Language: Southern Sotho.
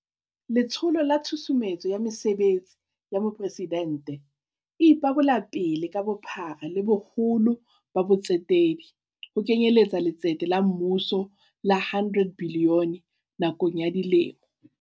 Letsholo la Tshusumetso ya Mesebetsi ya Mopresidente e ipabolapele ka bophara le boholo ba bo tsetedi, ho kenyeletsa letsete la mmuso la R100 bilione nakong ya dilemo